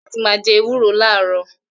Adeola fẹ́ràn láti máa jẹ ewúro láàárò